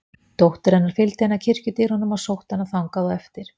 Dóttir hennar fylgdi henni að kirkjudyrunum og sótti hana þangað á eftir.